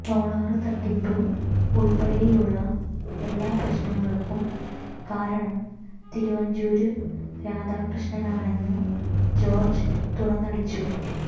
solar തട്ടിപ്പ് ഉള്പ്പെടെയുള്ള എല്ലാ പ്രശ്നങ്ങള്ക്കും കാരണം തിരുവഞ്ചൂര് രാധാകൃഷ്ണനാണെന്ന് ജോര്ജ് തുറന്നടിച്ചു